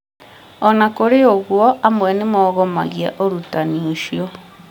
ona kurĩ ũguo amwe nĩ mogomagia ũrutani ũcio